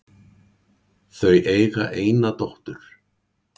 Þau eiga eina dóttur